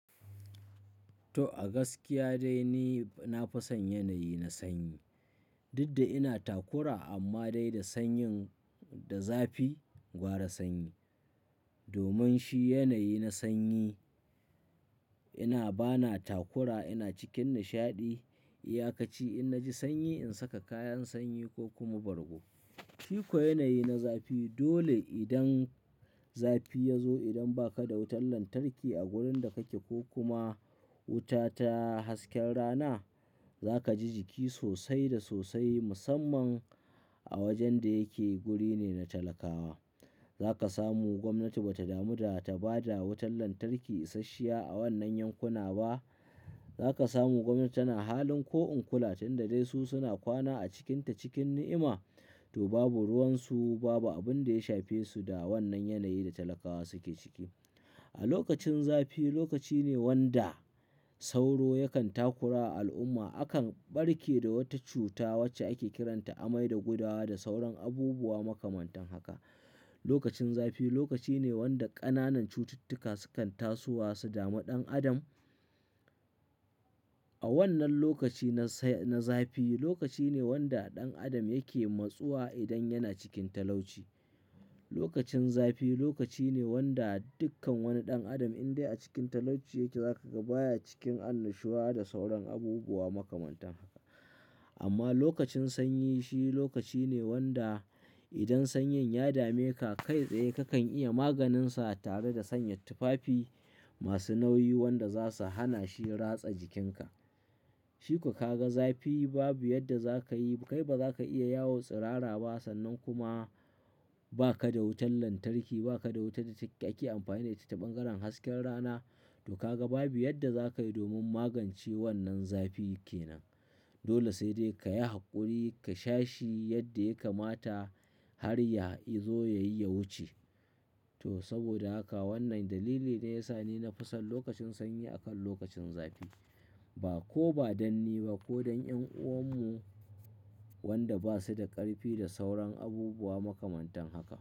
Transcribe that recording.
To a gaskiya dai ni na fi son yanayi na sanyi. Dudda ina takura amma dai da sanyin da zafi gwara sanyi. Domin shi yanayi na sanyi ina bana takura ina cikin nishaɗi. Iya ka ci in na ji sanyi in saka kayan sanyi ko kuma bargo. Shikuwa yanayi na zafi dole idan zafi ya zo idan ba ka da wutar lantarki a wurin da ka ke ko kuma wuta ta hasken rana za ka ji jiki sosai da sosai musamman a wajen da yake guri ne na talakawa. Za ka samu gwamnati ba ta damu da ta ba da wutar lantarki isashshiya a wannan yankuna ba. Za ka samu gwamnati tana halin ko in kula tun da dai su suna kwana a cikinta cikin ni'ima to babu ruwan su babu abin da ya shafe su da wannan yanayi da talakawa suke ciki. A lokacin zafi lokaci ne wanda sauro yakan takurawa al'umma akan ɓarke da wata cuta wacce ake kiranta amai da gudawa da sauran abubuwa makamantan haka. Lokacin zafi lokaci ne wanda ƙananan cututtuka sukan tasowa su damu ɗan adam. A wannan lokaci na sa-- na zafi lokaci ne wanda ɗan adam yake matsuwa idan yana cikin talauci. Lokacin zafi lokaci ne wanda dukkan wani ɗan adam in dai a cikin talauci yake za ka ga baya cikin annashuwa da sauran abubuwa makamantan haka. Amma lokacin sanyi shi lokaci ne wanda idan sanyin ya dame ka kai tsaye ka kan iya maganinsa tare da sanya tufafi masu nauyi wanda za su hana shi ratsa jikinka. Shikuwa ka ga zafi babu yadda za ka yi kai ba za ka iya yawo tsirara ba sannan kuma ba ka da wutar lantarki ba ka da wuta da ake amfani da ita ta ɓangaren hasken rana to ka ga babu yadda za ka yi domin magance wannan zafi kenan. Dole sai dai ka yi haƙuri ka sha shi yadda ya kamata har yazo ya yi ya wuce. To saboda haka wannan dalili ne ya sa ni na fi son lokacin sanyi akan lokacin zafi. Ba ko ba dan ni ba ko dan ƴan'uwan mu wanda ba su da ƙarfi da sauran abubuwa makamantan haka.